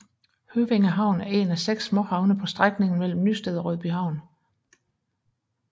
Høvænge Havn er en af 6 småhavne på strækningen mellem Nysted og Rødbyhavn